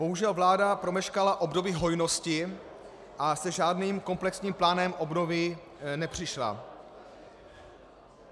Bohužel vláda promeškala období hojnosti a se žádným komplexním plánem obnovy nepřišla.